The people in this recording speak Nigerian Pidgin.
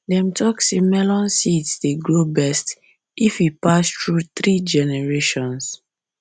dem talk say melon seeds dey grow best best if e pass through three generations